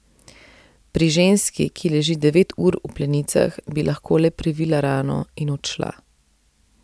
Pri ženski, ki leži devet ur v plenicah, bi lahko le previla rano in odšla.